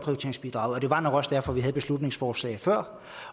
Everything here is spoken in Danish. det var nok også derfor vi havde beslutningsforslaget før